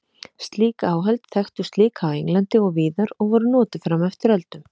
Slík áhöld þekktust líka á Englandi og víðar og voru notuð fram eftir öldum.